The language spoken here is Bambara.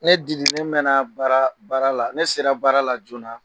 Ne Dili ne mɛn baara baara la, ne sera baara la joona.